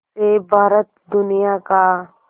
से भारत दुनिया का